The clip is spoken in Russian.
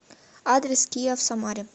адрес киа в самаре